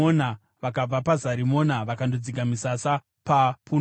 Vakabva paZarimona vakandodzika misasa paPunoni.